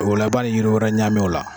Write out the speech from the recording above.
O la i b'a ni yira wɛrɛ ɲami o la